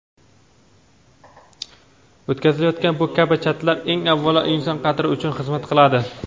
o‘tkazilayotgan bu kabi chatlar eng avvalo inson qadri uchun xizmat qiladi.